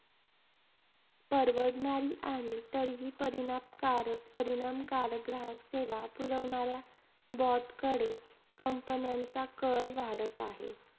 परवडणारी आणि तरीही परिणामकारक परिणामकारक ग्राहक सेवा पुरवणाऱ्या BOT कडे companies चा कल वाढत आहे.